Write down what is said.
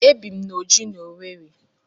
Ebi m na Ọjị́ n'Owerri.